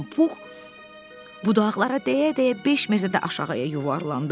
donqullanan Pux budaqlara dəyə-dəyə 5 metrdə aşağıya yuvarlandı.